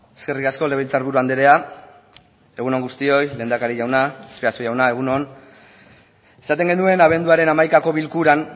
eskerrik asko legebiltzar buru andrea egun on guztioi lehendakari jauna azpiazu jauna egun on esaten genuen abenduaren hamaikako bilkuran